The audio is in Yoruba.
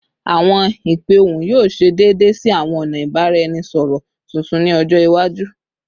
Awọn ipe ohun yoo ṣe deede si awọn ọna ibaraẹnisọrọ tuntun ni ọjọ iwaju